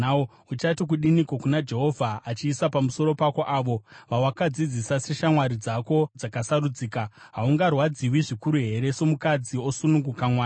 Uchati kudiniko kana Jehovha achiisa pamusoro pako avo vawakadzidzisa seshamwari dzako dzakasarudzika? Haungarwadziwi zvikuru here, somukadzi osununguka mwana?